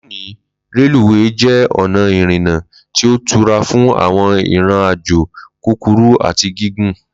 Loni, Reluwe je ona irina ti o tura fun awọn iron-ajo kukuru ati gigun